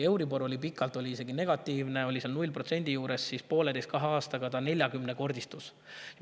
Euribor oli pikalt isegi negatiivne, 0% juures, aga pooleteise-kahe aastaga see neljakümnekordistus.